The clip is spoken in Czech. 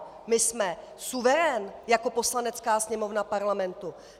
My jsme suverén jako Poslanecká sněmovna Parlamentu!